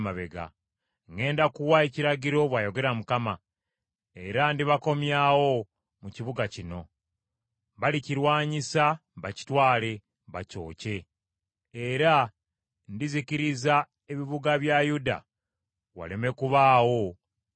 Ŋŋenda kuwa ekiragiro, bw’ayogera Mukama , era ndibakomyawo mu kibuga kino. Balikirwanyisa bakitwale, bakyokye. Era ndizikiriza ebibuga bya Yuda waleme kubaawo abibeeramu.”